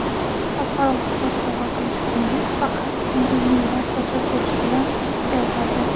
"Xalqaro kitob sovg‘a qilish kuni" faqat ko‘ngillilar tashabbusi bilan o‘tkaziladi.